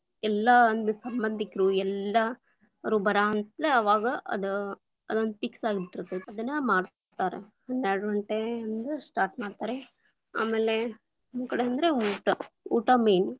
ಎಲ್ಲಾ ಒಂದ್‌ ಸಂಬಂಧಿಕರು ಎಲ್ಲಾರು ಬರಾವಂತ್ಲೇ ಅವಾಗ್‌ ಅದ್ ಅದೊಂದು fix lang:Foreign ಆಗ್ ಬಿಟ್ಟಿರ್ತೇತಿ, ಅದನ್ನ ಮಾಡ್ತಾರ, ಹನ್ನೆರಡು ಗಂಟೆ ಅಂದ್ರ start lang:Foreign ಮಾಡ್ತಾರೆ, ಆಮೇಲೆ ನಮ್ಮಕಡೆ ಅಂದ್ರೆ ಊಟ, ಊಟ main lang:Foreign.